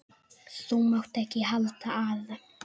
Þú mátt ekki halda að.